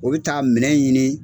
O bɛ taa minɛ ɲini,